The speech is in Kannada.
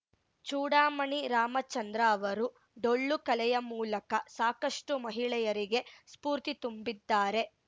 ಚೂಡಾಮಣಿ ರಾಮಚಂದ್ರ ಅವರು ಡೊಳ್ಳು ಕಲೆಯ ಮೂಲಕ ಸಾಕಷ್ಟುಮಹಿಳೆಯರಿಗೆ ಸ್ಫೂರ್ತಿ ತುಂಬಿದ್ದಾರೆ